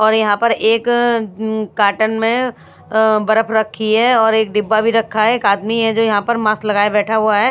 और यहां पर एक अम काटन में अ बर्फ रखी है और एक डिब्बा भी रखा है एक आदमी है जो यहां पर मास्क लगाए बैठा हुआ है।